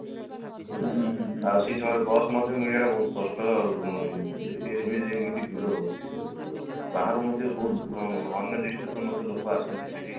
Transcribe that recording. ବୁଝିଲେ ଆଉ ସେଇ ସମୟରେ bus ମଧ୍ୟ ମିଳିବା ବହୁତ କଷ୍ଟ ଆଉ ଏମିତି ଭିଡ ହାଉଚି ଯୋଉ ଲୋକ ବାହାରୁ ମଧ୍ୟ ବହୁତ ଲୋକ ଅନ୍ୟ district ରୁ ମଧ୍ୟ ଲୋକ ଆସନ୍ତି ସେଇଠିକି